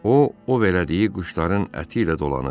O o verdiyi quşların əti ilə dolanır.